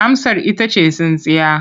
Amsar ita ce tsintsiya.